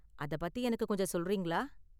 அதை பத்தி எனக்கு கொஞ்சம் சொல்றீங்களா?